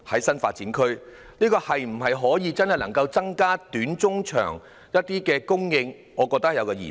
新發展區是否真的可以增加短中長期的土地供應，我覺得存有疑問。